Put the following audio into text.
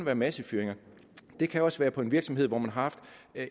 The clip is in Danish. at være massefyringer det kan også være på en virksomhed hvor man har haft